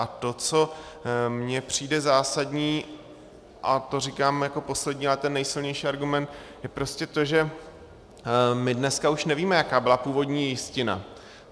A to, co mně přijde zásadní, a to říkám jako poslední, ale ten nejsilnější argument, tak prostě to, že my dneska už nevíme, jaká byla původní jistina.